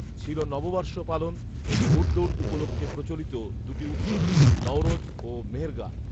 ছিল নববর্ষ পালন ও ঘৌড়দৌড় উপলক্ষ্যে প্রচলিত দুটি উত্সব ‘নওরোজ’ ও ‘মেহেরগান’